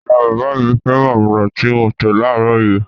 Ìyá-bàbá mi féràn amala tí mo tẹ̀ láàárọ̀ yìí.